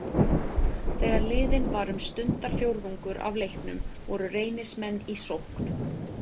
Þegar liðinn var um stundarfjórðungur af leiknum voru Reynismenn í sókn.